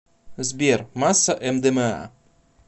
сбер масса мдма